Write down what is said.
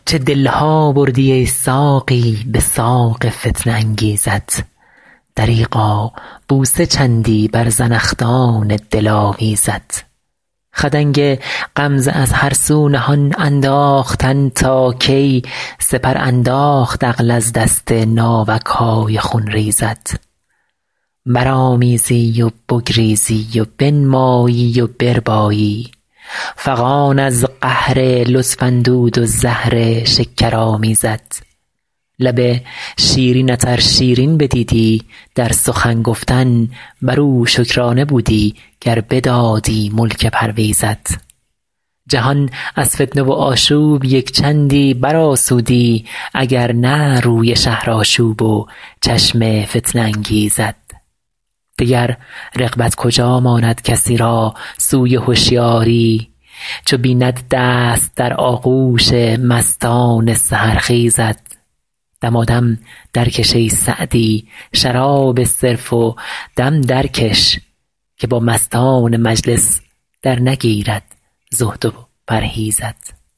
چه دل ها بردی ای ساقی به ساق فتنه انگیزت دریغا بوسه چندی بر زنخدان دلاویزت خدنگ غمزه از هر سو نهان انداختن تا کی سپر انداخت عقل از دست ناوک های خونریزت برآمیزی و بگریزی و بنمایی و بربایی فغان از قهر لطف اندود و زهر شکرآمیزت لب شیرینت ار شیرین بدیدی در سخن گفتن بر او شکرانه بودی گر بدادی ملک پرویزت جهان از فتنه و آشوب یک چندی برآسودی اگر نه روی شهرآشوب و چشم فتنه انگیزت دگر رغبت کجا ماند کسی را سوی هشیاری چو بیند دست در آغوش مستان سحرخیزت دمادم درکش ای سعدی شراب صرف و دم درکش که با مستان مجلس درنگیرد زهد و پرهیزت